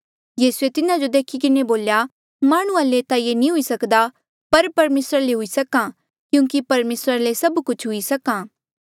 यीसूए तिन्हा जो देखी किन्हें बोल्या माह्णुंआं ले ता ये हुई नी सक्दा पर परमेसरा ले हुई सक्हा क्यूंकि परमेसरा ले सभ कुछ हुई सक्हा